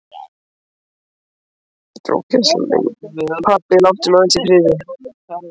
Pabbi, láttu mig aðeins í friði.